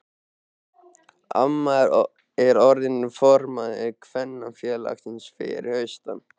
Amma er orðin formaður kvenfélagsins fyrir austan.